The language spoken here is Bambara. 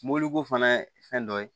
Mobiliko fana ye fɛn dɔ ye